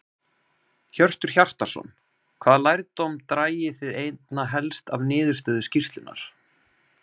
Hjörtur Hjartarson: Hvaða lærdóm dragi þið einna helst af niðurstöðu skýrslunnar?